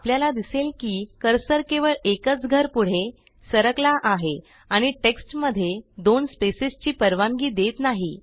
आपल्याला दिसेल की कर्सर केवळ एकच घर पुढे सरकला आहे आणि टेक्स्टमध्ये दोन स्पेसेसची परवानगी देत नाही